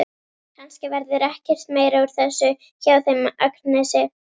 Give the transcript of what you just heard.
Kannski verður ekkert meira úr þessu hjá þeim Agnesi.